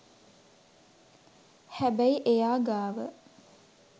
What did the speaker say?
හැබැයි එයා ගාව